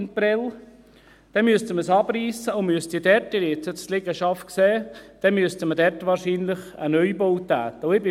Dann müsste man es abreissen und müsste dort – Sie haben die Liegenschaft ja gesehen – wahrscheinlich einen Neubau erstellen.